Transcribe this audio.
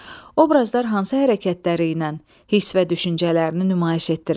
Obrazlar hansı hərəkətləri ilə hiss və düşüncələrini nümayiş etdirirlər?